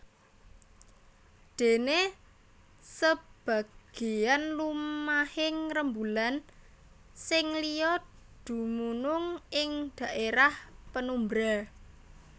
Déné sebagéyan lumahing rembulan sing liya dumunung ing dhaérah penumbra